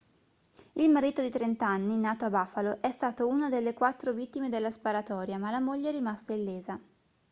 il marito di 30 anni nato a buffalo è stato una delle quattro vittime della sparatoria ma la moglie è rimasta illesa